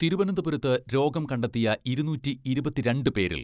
തിരുവനന്തപുരത്ത് രോഗം കണ്ടെത്തിയ ഇരുനൂറ്റി ഇരുപത്തിരണ്ട് പേരിൽ